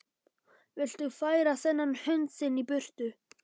Viltu færa þennan hund þinn í burtu!